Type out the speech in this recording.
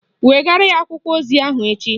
Wegara ya akwụkwọ ozi ahụ echi